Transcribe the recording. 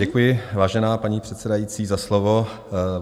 Děkuji, vážená paní předsedající, za slovo.